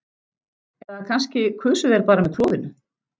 Eða kannski kusu þeir bara með klofinu.